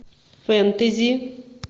фэнтези